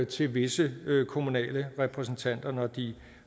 til visse kommunale repræsentanter når de